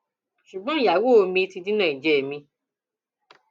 ṣùgbọn ìyàwó mi ti dínà ìjẹ mi